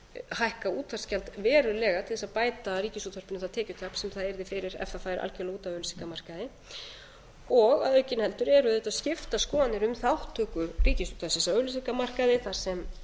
hækka útvarpsgjald verulega til þess að bæta ríkisútvarpinu það tekjutap sem það yrði fyrir ef það færi algjörlega út af auglýsingamarkaði og aukinheldur eru auðvitað skiptar skoðanir um þátttöku ríkisútvarpsins á auglýsingamarkaði þar sem